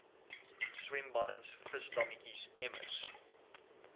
swembaddens visdammetjies emmers